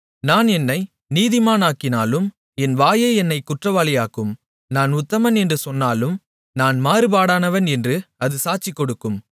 நான் என்னை நீதிமானாக்கினாலும் என் வாயே என்னைக் குற்றவாளியாக்கும் நான் உத்தமன் என்று சொன்னாலும் நான் மாறுபாடானவன் என்று அது சாட்சிகொடுக்கும்